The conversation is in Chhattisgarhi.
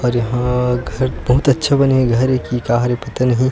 अरे हा घर बहुत अच्छा बने हे घर ये की का हरे पता नही--